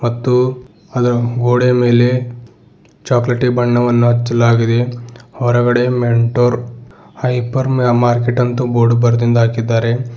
ಮತ್ತು ಅದ ಗೋಡೆ ಮೇಲೆ ಚಾಕಲೇಟಿ ಬಣ್ಣವನ್ನ ಹಚ್ಚಲಾಗಿದೆ ಹೊರಗಡೆ ಮೆಂಟೊರ್ ಹೈಪರ್ ಮಾರ್ಕೆಟ್ ಅಂತು ಬೋರ್ಡ್ ಬರೆದಿಂದ್ ಹಾಕಿದ್ದಾರೆ.